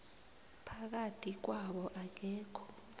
phakathi kwabo akekho